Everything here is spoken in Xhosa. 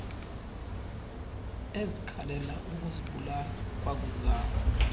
ezikhalela ukuzibulala kwakuzalwa